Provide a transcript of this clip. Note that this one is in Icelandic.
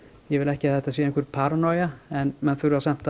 ég vil ekki að þetta sé einhver paranoja en menn þurfa samt